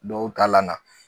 Dɔw ta lana.